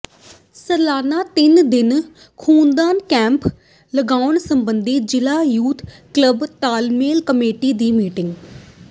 ਸਾਲਾਨਾ ਤਿੰਨ ਦਿਨਾ ਖ਼ੂਨਦਾਨ ਕੈਂਪ ਲਗਾਉਣ ਸਬੰਧੀ ਜ਼ਿਲ੍ਹਾ ਯੂਥ ਕਲੱਬ ਤਾਲਮੇਲ ਕਮੇਟੀ ਦੀ ਮੀਟਿੰਗ